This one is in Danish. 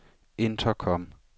intercom